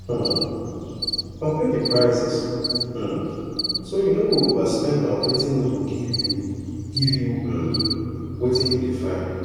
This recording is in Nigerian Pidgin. um compare di prices um so you no go overspend on wetin no go give you give you um wetin you dey find